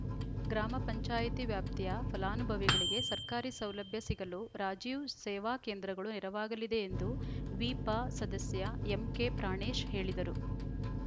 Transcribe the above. ಗ್ರಾಮ ಪಂಚಾಯಿತಿ ವ್ಯಾಪ್ತಿಯ ಫಲಾನುಭವಿಗಳಿಗೆ ಸರ್ಕಾರಿ ಸೌಲಭ್ಯ ಸಿಗಲು ರಾಜೀವ್‌ ಸೇವಾ ಕೇಂದ್ರಗಳು ನೆರವಾಗಲಿದೆ ಎಂದು ವಿಪಸದಸ್ಯ ಎಂಕೆಪ್ರಾಣೇಶ್‌ ಹೇಳಿದರು